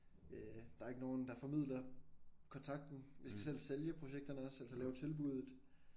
Øh der ikke nogen der formidler kontakten vi skal selv sælge projekterne også altså lave tilbuddet